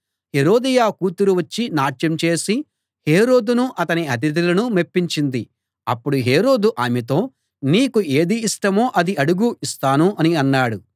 హేరోదియ కూతురు వచ్చి నాట్యం చేసి హేరోదును అతని అతిధులను మెప్పించింది అప్పుడు హేరోదు ఆమెతో నీకు ఏది ఇష్టమో అది అడుగు ఇస్తాను అని అన్నాడు